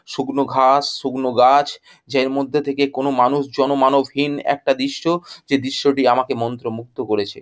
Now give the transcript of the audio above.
শুকনো ঘাস শুকনো গাছ জের মধ্যে থেকে কোনো মানুষ জনমানবহীন একটা দৃশ্য যে দৃশ্যটি আমাকে মন্ত্রমুগ্ধ করেছে।